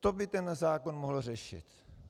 To by ten zákon mohl řešit.